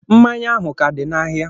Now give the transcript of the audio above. Mmanya ahụ ka dị n'ahịa